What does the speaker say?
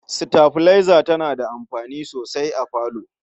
Sitabilaiza tana da amfani sosai a falo.